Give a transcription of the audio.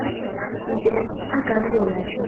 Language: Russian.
сбер а как же иначе